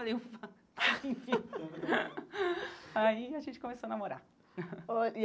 Aí a gente começou a namorar.